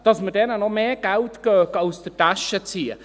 Das muss jeder Betrieb, also ändert es ja gar nichts.